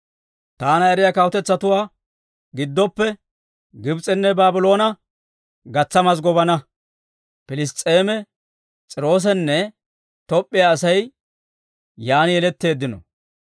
«Taana eriyaa kawutetsatuwaa gidoppe, Gibs'enne Baabloone gatsa mazggobana; Piliss's'eeme, S'iiroosenne Toop'p'iyaa asay, yaan yeletteeddino.»